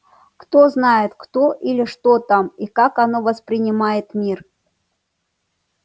кто знает кто или что там и как оно воспринимает мир